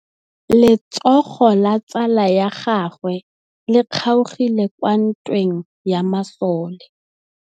Letsôgô la tsala ya gagwe le kgaogile kwa ntweng ya masole.